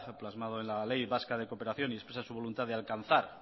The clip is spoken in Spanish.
plasmado en la ley vasca de cooperación y expresa su voluntad de alcanzar